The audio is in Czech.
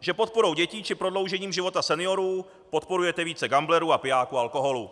že podporou dětí či prodloužením života seniorů podporujete více gamblerů a pijáků alkoholu.